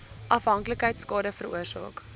afhanklikheid skade veroorsaak